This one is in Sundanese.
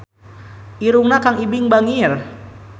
Irungna Kang Ibing bangir